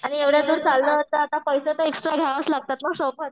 आणि एवढ्या दूर चाललो आहोत तर पैसे तर एक्स्ट्रा घ्यावेच लागतात ना सोबत.